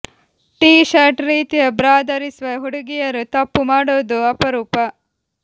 tea shirt ರೀತಿಯ bra ಧರಿಸುವ ಹುಡುಗಿಯರು ತಪ್ಪು ಮಾಡೋದು ಅಪರೂಪ